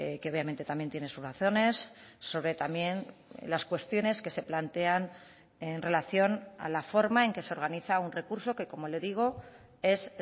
que obviamente también tiene sus razones sobre también las cuestiones que se plantean en relación a la forma en que se organiza un recurso que como le digo es